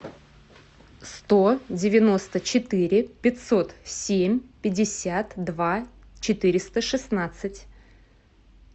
сто девяносто четыре пятьсот семь пятьдесят два четыреста шестнадцать